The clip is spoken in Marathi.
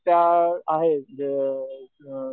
त्या आहे अ अ